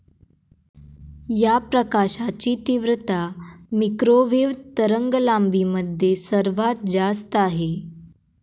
या प्रकाशाची तीव्रता मिक्रोवेव्ह तरंगलांबीमध्ये सर्वात जास्त आहे.